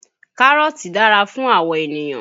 Kárọ́ọ̀tì dára fún àwọ̀ ènìyàn